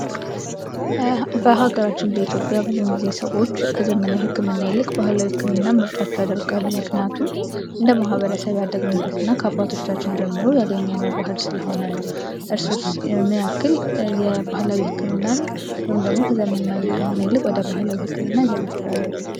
በሀገራችን በኢትዮጵያ ብዙም ጊዜ ሰዎች ከዘመነ ሕክምና ይልቅ ባህላዊ ሕክምና ምርጫቸው ያደርጋሉ። ምክንያቱም እንደ ማህበረሰብ ያደግንበት እና ከአባቶቻችን ጀምሮ ያገኘነው ባህል ስለሆነ ነው። እርሶስ ምን ያክል የባህላዊ ሕክምናን ወይም ደግሞ ከዘመናዊ ህክምና ይልቅ ወደ ባህላዊ ህክምና ይዘነብላሉ?